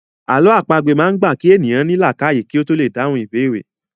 Àlọ́ àpagbè máa ń gba kí èèyàn ó ní làákàyè kí ó tó lè dáhùn ìbéèrè